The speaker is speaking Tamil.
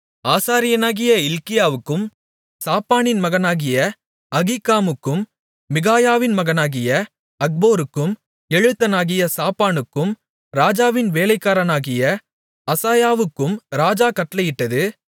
ஆசாரியனாகிய இல்க்கியாவுக்கும் சாப்பானின் மகனாகிய அகீக்காமுக்கும் மிகாயாவின் மகனாகிய அக்போருக்கும் எழுத்தனாகிய சாப்பானுக்கும் ராஜாவின் வேலைக்காரனாகிய அசாயாவுக்கும் ராஜா கட்டளையிட்டது